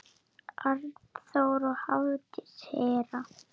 Arnþór og Hafdís Hera.